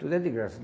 Tudo é de graça.